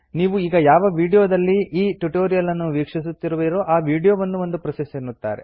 ನೀವು ಈಗ ಯಾವ ವಿಡಿಯೋದಲ್ಲಿ ಈ ಟ್ಯುಟೋರಿಯಲ್ ನ್ನು ವೀಕ್ಷಿಸುತ್ತಿರುವಿರೋ ಆ ವಿಡಿಯೋವನ್ನು ಒಂದು ಪ್ರೋಸೆಸ್ ಎನ್ನುತ್ತಾರೆ